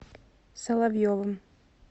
соловьевым